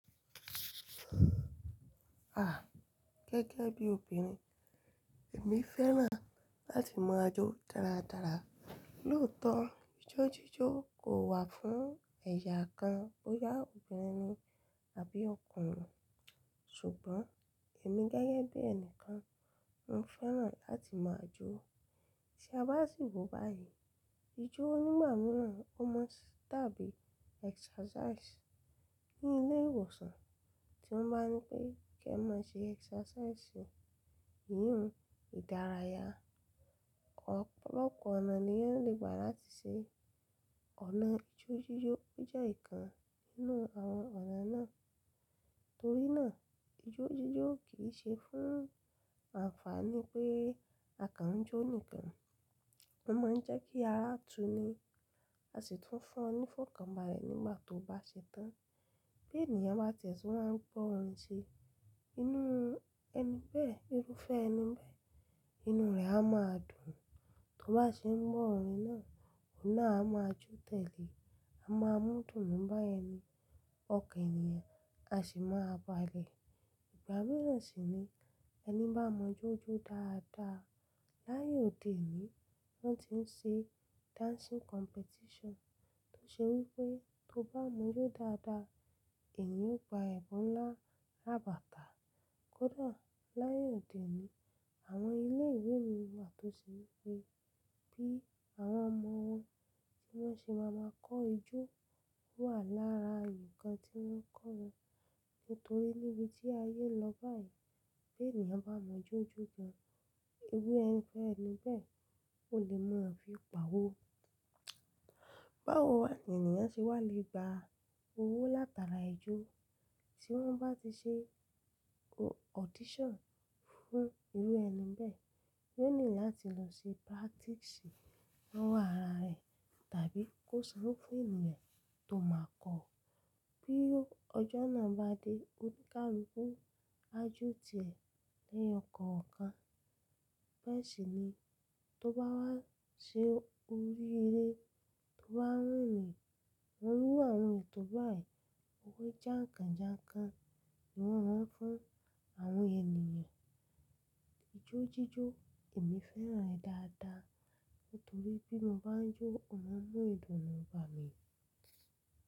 À, gẹ́gẹ́ bí obìnrin, èmi fẹ́ràn láti ma ajó dáadáa. Lóòótọ́, ijó jíjó kò wà fún ẹ̀yà kan bóyá obìnrin ni àbí ọkùnrin. Ṣùgbọ́n èmi gẹ́gẹ́ bí ẹnìkan, mo fẹ́ràn láti ma ajó. Tí a bá sì wò báyìí, ijó onímọ̀ràn ó mọ sí tàbí exercise ní ilé ìwòsàn tí wọ́n bá ní pé kí ẹ máa ṣe exercise, ìhùn ìdárayá. Ọ̀pọ̀lọpọ̀ ọ̀nà ni wọ́n le gbà láti ṣe. Ọ̀nà ijó jíjó jẹ́ ìkan nínú àwọn ọ̀nà náà. Torí náà ijó jíjó kì í ṣe fún àǹfààní pé akàn jó nìkan. Ó máa ń jẹ́ kí ara tu ni, a sì tún fún ọ ní fọ́nkàba rẹ̀ nígbà tó bá ṣe tán. Bí ènìyàn bá tẹ̀síwá ń gbọ́ orin ṣe inú ẹni bẹ́ẹ̀, irúfẹ́ ẹni bẹ́ẹ̀, inú rẹ̀ á máa dùn. Tó bá ṣe ń gbọ́ orin náà, òun náà a máa jó tẹ́lẹ̀, a máa mú dùùn bá ẹni, ọkàn ènìyàn a sì máa balẹ̀. Ìgbà mìíràn sì ni ẹni bá mọ ojú dáadáa. Láàyò òde òní, wọ́n ti ń ṣe dancing competition tó ṣe wí pé tó bá mọ ojú dáadáa, èèyàn ó gba ẹ̀bùn ńlá, labata kódà láàyò òde òní, àwọn ilé ìwé mìíràn tòsí wí pé bí àwọn ọmọ wọn tí wọ́n ṣe máa máa kọ ijó wà lára ǹkan tí wọ́n kọ́ wọn. Nítorí níbi tí ayé lọ báyìí, bí ènìyàn bá mọ ijo jo dáadáa, irú ẹni bẹ́ẹ̀ kò lè mọ̀ ọ́n fi gba owó. Báwo ni ènìyàn ṣe wà lè gba owó látara ijó? Tí wọ́n bá ti ṣe audition fún irú ẹni bẹ́ẹ̀, yóò nílò láti lọ ṣe practice lọ́wọ́ ara rẹ̀ tàbí kó sanwó fún ènìyàn tó máa kọ ọ́. Bí ọjọ́ náà bá dé, ó ní ká lu ku ajó tìẹ lẹ́yọkọ̀ọ̀kan. Bẹ́ẹ̀ sì ni tó bá ṣe orí eré, tó bá wúnni, iru àwọn ètò báyìí, owó jáǹkàn-jáǹkàn ni wọ́n maa fún àwọn ènìyàn. Ijó jíjó, èmi fẹ́ràn rẹ̀ dáadáa nítorí bí mo bá ń jó, ọ̀nà mún idun náà ń ba le.